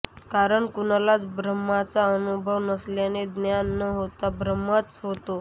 कारण कुणालाच ब्रम्हाचा अनुभव नसल्याने ज्ञान न होता भ्रमच होतो